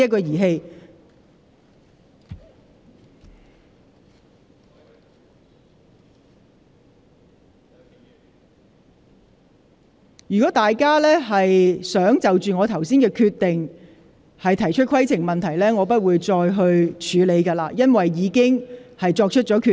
倘若議員再次就我剛才的決定提出規程問題，我將不會處理，因為我已作出決定。